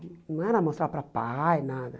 Não era mostrar para pai, nada.